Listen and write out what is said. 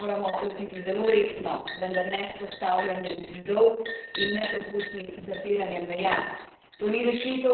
Vprašanja migracij se moramo lotiti zelo resno, vendar ne s postavljanjem zidov in nepropustnim zapiranjem meja.